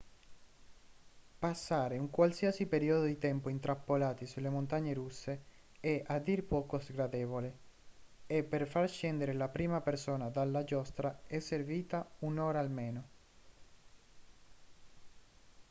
passare un qualsiasi periodo di tempo intrappolati sulle montagne russe è a dir poco sgradevole e per far scendere la prima persona dalla giostra è servita un'ora almeno